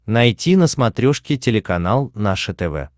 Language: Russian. найти на смотрешке телеканал наше тв